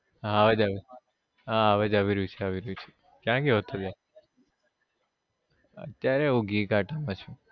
હા આવાજ આવે હા આવાજ આવી રહું છે આવી રહું છે ક્યાં ગયો તો yaar અત્યારે હું